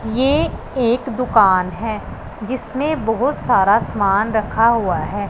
ये एक दुकान है जिसमें बहोत सारा सामान रखा हुआ है।